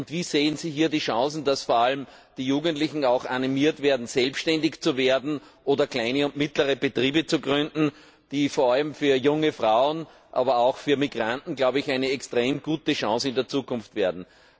Wie sehen Sie hier die Chance, dass vor allem die Jugendlichen auch animiert werden, selbstständig zu werden oder kleine und mittlere Betriebe zu gründen, die vor allem für junge Frauen, aber auch für Migranten in der Zukunft eine extrem gute Chance sein werden?